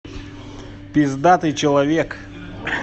пиздатый человек